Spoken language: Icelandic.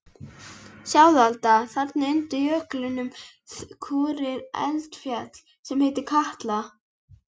Sjáðu Alda, þarna undir jöklinum kúrir eldfjall sem heitir Katla.